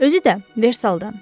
Özü də Versaldan.